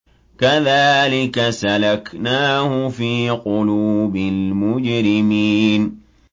كَذَٰلِكَ سَلَكْنَاهُ فِي قُلُوبِ الْمُجْرِمِينَ